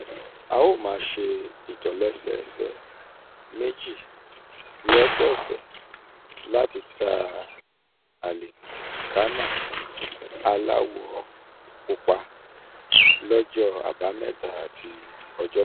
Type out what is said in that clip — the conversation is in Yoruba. a ó máa ṣe ìtòlẹ́sẹẹsẹ méjì lọ́sọ̀ọ̀sẹ̀ láti ta àlìkámà aláwọ̀ pupa aláwọ̀ pupa lọ́jọ́ àbámẹ́ta àti ọjọ́bọ.